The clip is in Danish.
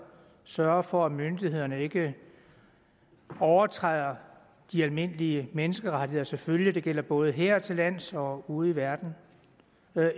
sørge for at myndighederne ikke overtræder de almindelige menneskerettigheder selvfølgelig det gælder både hertillands og ude i verden